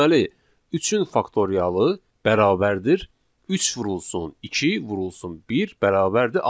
Deməli, 3-ün faktorialı bərabərdir 3 vurulsun 2 vurulsun 1 bərabərdir 6.